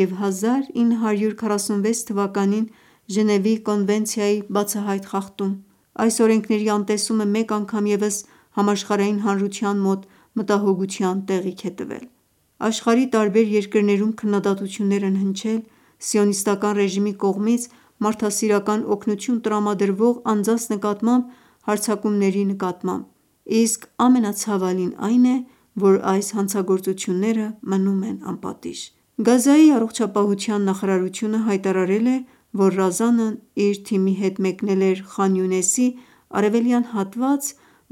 և 1946թ Ժնևի կոնվենցիայի բացահայտ խախտում: Այս օրենքների անտեսումը մեկ անգամ ևս համաշխարհային հանրության մոտ մտահոգության տեղիք է տվել: Աշխարհի տարբեր երկրներում քննադատություններ են հնչել Սիոնիստական ռեժիմի կողմից մարդասիրական օգտնություն տրամադրող անձնանց նկատմամբ հարձակումների նկատմամբ: Իսկ ամենացավալին այն է, որ այս հանցագործությունները մնում են անպատիժ: Գազայի առողջապահության նախարարությունը հայտարարել է, որ Ռազանն իր թիմի հետ մեկնել էր Խան Յունեսի արևելյան հատված,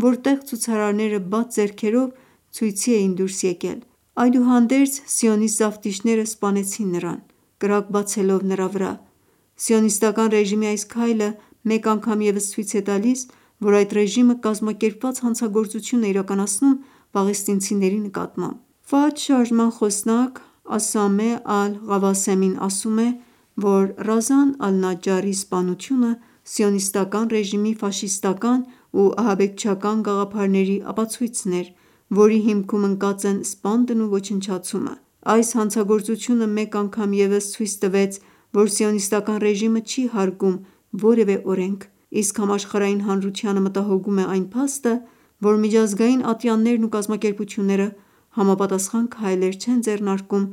որտեղ ցուցարարները բաց ձեռքերով ցույցի էին դուրս եկել: Այդուհանդերձ, սիոնսիտ զավթիչները սպանեցին նրան` կրակ բացելով նրա վրա: Սիոնիստական ռեժիմի այս քայլը մեկ անցամ ևս ցույց է տալիս, որ այդ ռեժիմը կազմակերպված հանցագործություն է իրականացնում պաղեստինցիների նկատմամբ: ՖԱԹՀ շարժման խոսնակ Ասամե Ալ Ղավասեմին ասում է, որ Ռազան Ալ Նաջարի սպանությունը Սիոնսիտական ռեժիմի ֆաշիստական ու ահաբեկչական գաղափարների ապացույցն էր, որի հիմքում ընկած են սպանդն ու ոչնչացումը: Այս հանցագործությունը մեկ անգամ ևս ցույց տվեց, որ Սիոնսիստական ռեժիմը չի հարգում որևէ օրենք: Իսկ համաշխարհային հանրությանը մտահոգում է այն փաստը, որ միջազգային ատյաններն ու կազմակերպությունները համապատասխան քայլեր չեն ձեռնարկում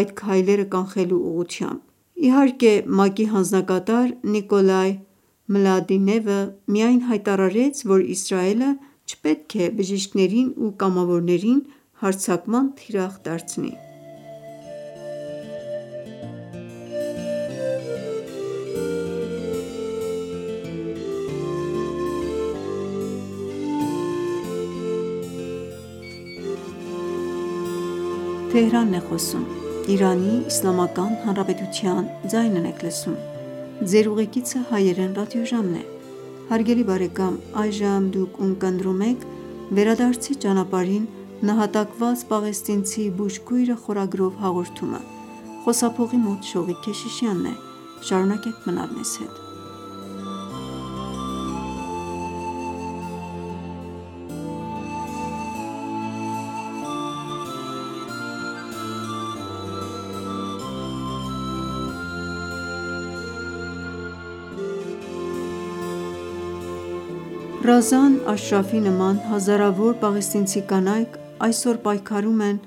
այդ քայլերը կանխելու ուղղությամբ: Իհարկե ՄԱԿ-ի հանձնակատար Նիկոլայ Մլադինովը միայն հայտարարեց, որ Իսրայելը չպետք է բժիշկներին ու կամավորներին հարձակման թիրախ դարձնի: Ռազան Աշրաֆի նման հազարավոր պաղեստինցի կանայք այսօր պայքարում են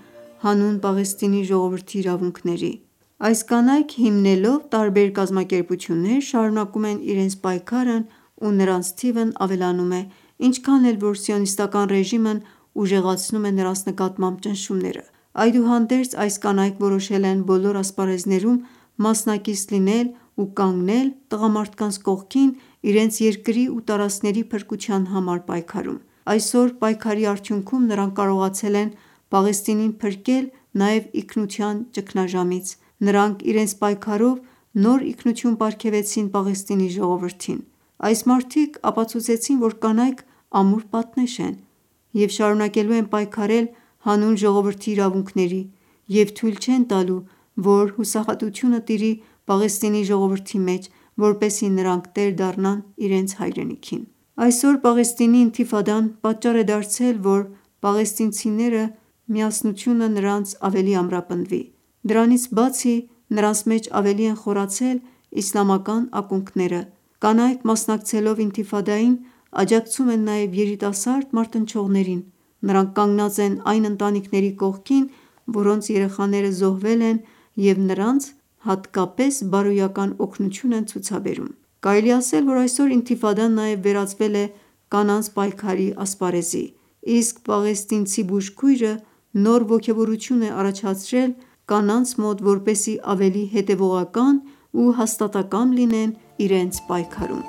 հանուն Պաղեստինի ժողովրդի իրավունքների: Այս կանայք, հիմնելով տարբեր կազմակերպություններ, շարունակում են իրենց պայքարն ու նրանց թիվն ավելանում է, ինչքան էլ որ Սիոնիստական ռեժիմն ուժեղացնում է նրանց նկատմամբ ճնշումները: Այդուհանդերձ, այս կանայք որոշել են բոլոր ասպարեզներում մասնակից լինել ու կանգնել տղամարդկանց կողքին` իրենց երկրի ու տարածքների փրկության համար պայքարում: Այսօր, պայքարի արդյունքում, նրանք կարողացել են Պաղեստինին փրկել նաև ինքնության ճգնաժամից: Նրանք իրենց պայքարով նոր ինքնություն պարգևեցին Պաղեստինի ժողովրդին: Այս մարդիկ ապացուցեցին, որ կանայք ամուր պատնեշ են և շարունակելու են պայքարել հանուն ժողովրդի իրավունքների և թույլ չեն տալու, որ անհուսությունը տիրի Պաղեստինի ժողովրդի մեջ, որպեսզի նրանք տեր դառնան իրենց հայրենիքին: Այսօր Պաղեստինի ինթիֆադան պատճառ է դարձել, որ պաղեստինցիների միասնությունն ավելի ամրապնդվի: Դրանցի բացի, նրանց մեջ ավելի են խորացել իսլամական ակունքները: Կանայք, մասնակցելով ինթիֆադային, աջակցում են նաև երիտասարդ մարտնչողներին: Նրանք կանգնած են այն ընտանիքների կողքին, որոնց երեխաները զոհվել են և նրանց հատկապես բարոյական օգնություն են ցուցաբերում: Կարելի է ասել, որ այսօր ինթիֆադան նաև վերածվել է կանանց պայքարի ասպարեզի: Իսկ Պաղեստինից բուժքույրը նոր ոգևորություն է առաջացրել կանանց մոտ, որպեսզի ավելի հետևողական ու հաստատակամ լինեն իրենց պայքարում: